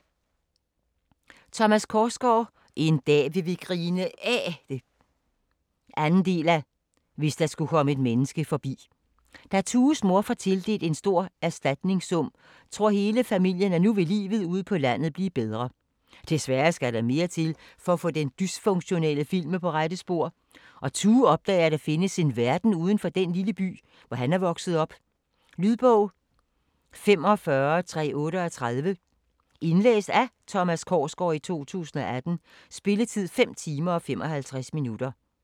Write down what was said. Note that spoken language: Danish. Korsgaard, Thomas: En dag vil vi grine af det 2. del af Hvis der skulle komme et menneske forbi. Da Tues mor får tildelt en stor erstatningssum, tror hele familien af nu vil livet ude på landet blive bedre. Desværre skal der mere til for at få den dysfunktionelle familie på rette spor, og Tue opdager at der findes en verden udenfor den lille by hvor han er vokset op. Lydbog 45338 Indlæst af Thomas Korsgaard, 2018. Spilletid: 5 timer, 55 minutter.